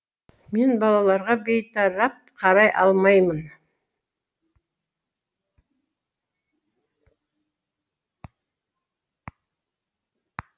мен балаларға бейтарап қарай алмаймын